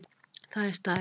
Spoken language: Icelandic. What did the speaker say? Það er staðreynd